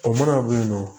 O mana bɛ yen nɔ